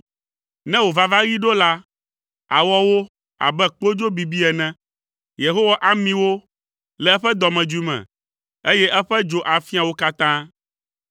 Ne wò vavaɣi ɖo la, àwɔ wo abe kpodzo bibi ene. Yehowa ami wo le eƒe dɔmedzoe me, eye eƒe dzo afia wo katã.